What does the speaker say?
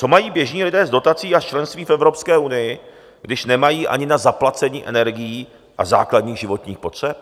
Co mají běžní lidé z dotací a z členství v Evropské unii, když nemají ani na zaplacení energií a základních životních potřeb?